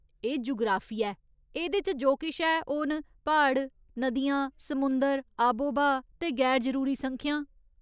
एह् जुगराफिया ऐ ! एह्दे च जो किश ऐ, ओह् न प्हाड़, नदियां, समुंदर, आबोब्हा ते गैर जरूरी संख्यां।